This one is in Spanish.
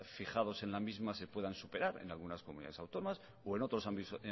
fijados en la misma se puedan superar en algunas comunidades autónomas o en otros